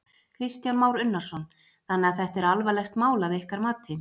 Kristján Már Unnarsson: Þannig að þetta er alvarlegt mál að ykkar mati?